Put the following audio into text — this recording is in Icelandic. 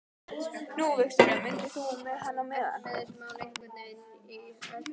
Nú, Viktoría keypti myndina og fór með hana héðan.